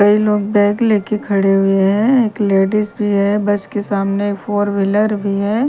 कई लोग बैग लेकर खड़े हुए हैं एक लेडिस भी है बस के सामने फोर व्हीलर भी है।